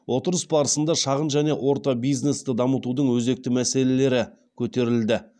отырыс барысында шағын және орта бизнесті дамытудың өзекті мәселелері көтерілді